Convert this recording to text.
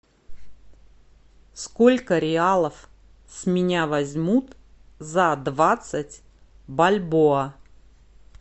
сколько реалов с меня возьмут за двадцать бальбоа